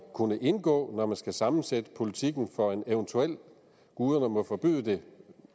kunne indgå når man skal sammensætte politikken for en eventuel guderne må forbyde det